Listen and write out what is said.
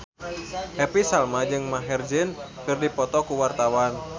Happy Salma jeung Maher Zein keur dipoto ku wartawan